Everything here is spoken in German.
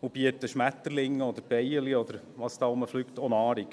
und bieten Schmetterlingen und Bienen und was da so herumfliegt auch Nahrung.